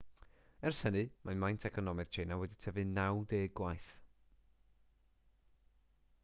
ers hynny mae maint economaidd tsieina wedi tyfu 90 gwaith